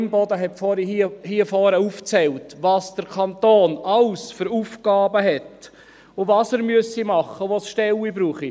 Imboden hat vorhin aufgezählt, welche Aufgaben der Kanton alle hat, was er tun müsse und wo es überall Stellen brauche.